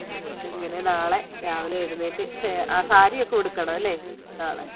അങ്ങനെ നാളെ രാവിലെ എഴുന്നേറ്റ് ല്ലേ? സാരി ഒക്കെ ഉടുക്കണമെല്ലെ? അഹ്